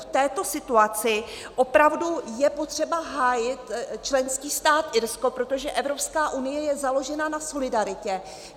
V této situaci opravdu je potřeba hájit členský stát Irsko, protože Evropská unie je založena na solidaritě.